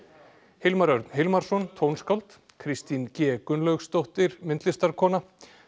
Hilmar Örn Hilmarsson tónskáld Kristín g Gunnlaugsdóttir myndlistarmaður